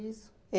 Isso.